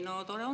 No tore on!